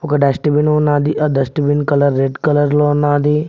ఒక dust bin ఉన్నాది ఆ dust bin colour red colour లో ఉన్నాది.